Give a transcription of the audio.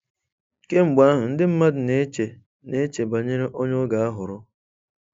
Kemgbe ahụ, ndị mmadụ na-eche na-eche banyere onye ọ ga-ahọrọ.